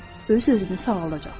Öz-özünü sağaldacaqdır.